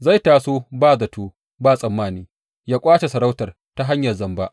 Zai taso ba zato ba tsammani, yă ƙwace sarautar ta hanyar zamba.